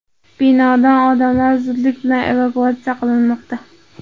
Binodan odamlar zudlik bilan evakuatsiya qilinmoqda.